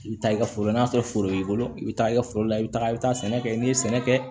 I bɛ taa i ka foro lase foro y'i bolo i bɛ taa i ka foro la i bɛ taa i bɛ taa sɛnɛ kɛ n'i ye sɛnɛ kɛ